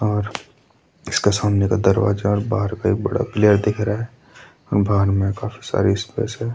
और इसके सामने दरवाजा और बहार पे बड़ा क्लियर दिख रहा है बहार में काफी सारी स्पेस है।